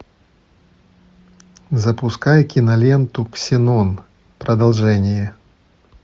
запускай киноленту ксенон продолжение